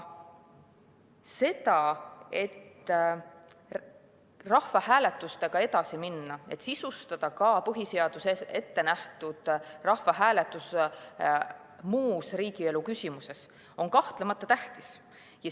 See, et rahvahääletustega edasi minna, et sisustada ka põhiseaduses ettenähtud rahvahääletus muus riigielu küsimuses, on kahtlemata tähtis.